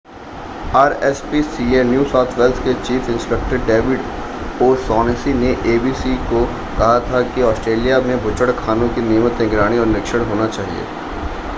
rspca New South Wales के chief inspector David O'Shaughnessy ने abc को कहा था कि ऑस्ट्रेलिया में बूचड़खानों की नियमित निगरानी और निरीक्षण होना चाहिए